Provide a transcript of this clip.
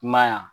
I m'a ye wa